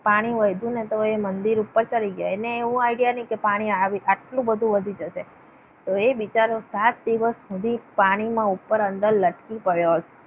પાણી વધુ ને તો એ મંદિર પર ચડી ગયા. એને એવો idea નહીં કે પાણી આટલું બધું વધી જશે. તો એ બચારો સાત દિવસ સુધી પાણીમાં ઉપર અંદર લટકી પડ્યો હતો.